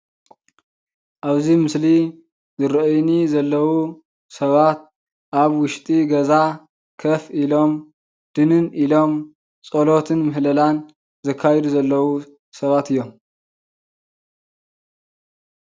ኣብዚ ምስሊ ይርአዩኒ ዘለዉ ሰባት ኣብ ገዛ ከፍ ኢሎም ድንን ኢሎም ፀሎትን ምህለላን ዘካይዱ ዘለዉ ሰባት እዮም፡፡